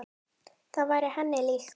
Það væri henni líkt.